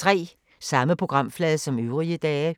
Samme programflade som øvrige dage